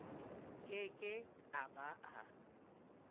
ke ke a ba a